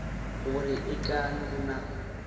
gore e ka no na